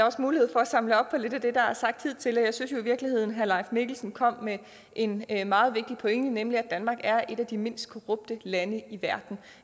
også mulighed for at samle op på lidt af det der er blevet sagt hidtil og jeg synes jo i virkeligheden at herre leif mikkelsen kom med en en meget vigtig pointe nemlig at danmark er et af de mindst korrupte lande i verden